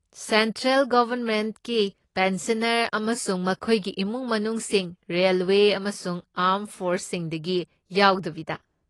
Central ꯒꯣꯕꯔꯃꯦꯟꯒꯤ pensioner ꯑꯃꯁꯨꯡ ꯃꯈꯣꯏꯒꯤ ꯏꯃꯨꯡ ꯃꯅꯨꯡꯁꯤꯡ ꯔꯦꯜꯋꯦ ꯑꯃꯁꯨꯡ ꯑꯥ꯭ꯔꯝ ꯐꯣꯔꯁꯁꯤꯡꯗꯒꯤ ꯌꯥꯎꯗꯕꯤꯗ꯫